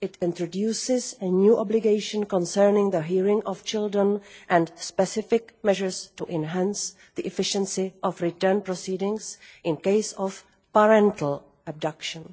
It introduces a new obligation concerning the hearing of children and specific measures to enhance the efficiency of return proceedings in cases of parental abduction.